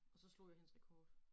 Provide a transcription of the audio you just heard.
Og så slog jeg hendes rekord